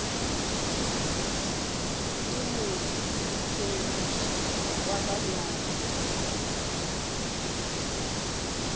ke mophediši wa ka bjale